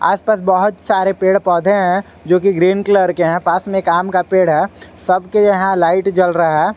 आस पास बहोत सारे पेड़ पौधे हैं जो कि ग्रीन कलर के हैं पास में काम का पेड़ है सबके यहां लाइट जल रहा है।